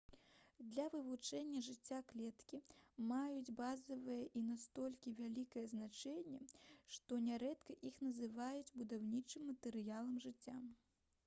для вывучэння жыцця клеткі маюць базавае і настолькі вялікае значэнне што нярэдка іх называюць «будаўнічым матэрыялам жыцця»